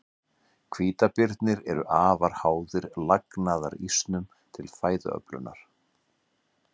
Hvítabirnir eru afar háðir lagnaðarísnum til fæðuöflunar.